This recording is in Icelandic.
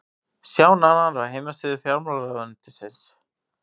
sjá nánar á heimasíðu fjármálaráðuneytisins